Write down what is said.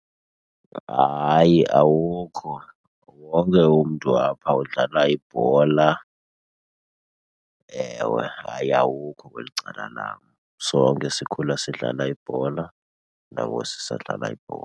Hayi, awukho. Wonke umntu apha udlala ibhola, ewe. Hayi, awukho kweli cala lam. Sonke sikhula sidlala ibhola nangoku sisadlala ibhola.